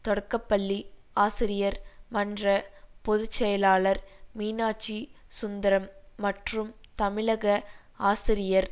தொடக்கபள்ளி ஆசிரியர் மன்ற பொது செயலாளர் மீனாட்சி சுந்தரம் மற்றும் தமிழக ஆசிரியர்